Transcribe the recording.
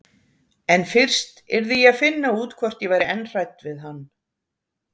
En fyrst yrði ég að finna út hvort ég væri enn hrædd við hann.